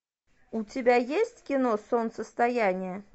у тебя есть кино солнцестояние